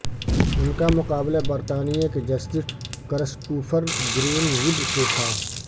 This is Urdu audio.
ان کا مقابلہ برطانیہ کے جسٹس کرسٹوفر گرین وڈ سے تھا